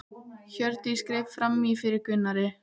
Hjördís greip fram í fyrir Gunnari.